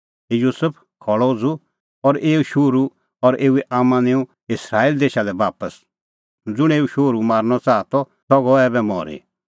हे युसुफ खल़अ उझ़ू और एऊ शोहरू और एऊए आम्मां निंऊं इस्राएल देशा लै बापस ज़ुंण एऊ शोहरू मारनअ च़ाहा त सह गअ ऐबै मरी